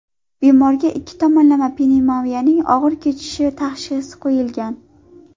Bemorga ikki tomonlama pnevmoniyaning og‘ir kechishi tashxisi qo‘yilgan.